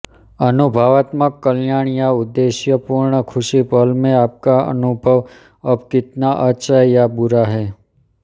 अनुभवात्मक कल्याण या उद्देश्यपूर्ण खुशी पल में आपका अनुभव अब कितना अच्छा या बुरा है